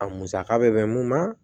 A musaka bɛ mɛn mun na